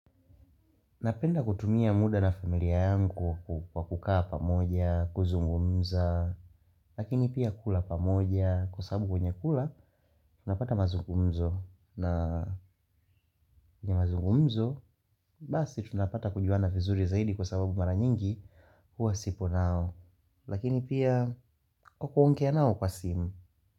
Napenda kutumia muda na familia yangu kwa kukaa pamoja, kuzungumza, lakini pia kula pamoja, kwa sababu kwenye kula, tunapata mazungumzo. Na kwenye mazungumzo, basi tunapata kujuana vizuri zaidi kwa sababu mara nyingi huwa sipo nao. Lakini pia, kwa kuongea nao kwa simu.